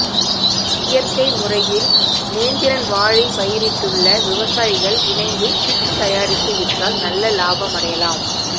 இயற்கை முறையில் நேந்திரன் வாழை பயிரிட்டுள்ள விவசாயிகள் இணைந்து சிப்ஸ் தயாரித்து விற்றால் நல்ல லாபம் அடையலாம்